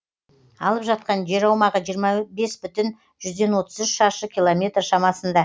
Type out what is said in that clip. алып жатқан жер аумағы жиырма бес бүтін отыз үш шаршы километр шамасында